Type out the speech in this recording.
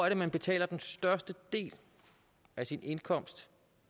er man betaler den største del af sin indkomst